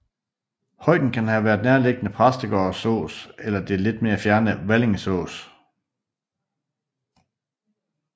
Højden kan have været nærliggende Præstgårdsås eller det lidt mere fjerne Valingeås